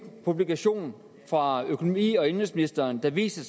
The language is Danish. publikation fra økonomi og indenrigsministeren der viste